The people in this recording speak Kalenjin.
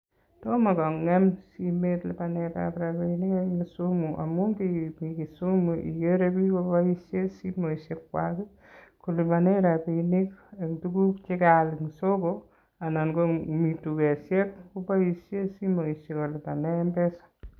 Tomo kongem simet lipanet ap rabinik ing Kisumu amun igere biik ko boishe simet kolipane tuguk che kaal ing soket